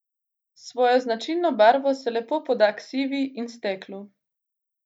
S svojo značilno barvo se lepo poda k sivi in steklu.